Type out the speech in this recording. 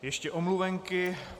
Ještě omluvenky.